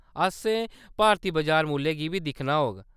असें भारती बजार मुल्लै गी बी दिक्खना होग।